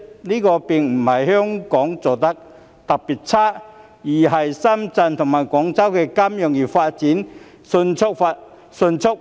這並非香港做得差，而是因為深圳及廣州金融業發展迅速。